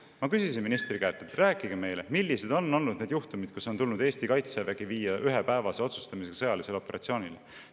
Ma küsisin ministri käest: rääkige meile, millised on olnud need juhtumid, kus on tulnud Eesti kaitsevägi viia ühepäevase otsustamisega sõjalisele operatsioonile.